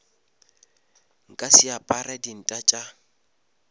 nka se apare dinta tša